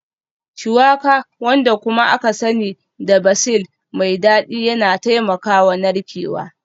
Shuwaka, wanda kuma aka sani da basil mai dadi yana taimakawa narkewa